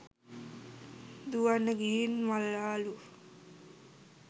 දුවන්න ගිහින් මළාලු.